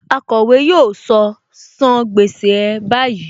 Akọ̀wé yóò sọ " san gbèsè ẹ báyìí '.